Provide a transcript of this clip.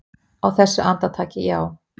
Á þessu andartaki, já.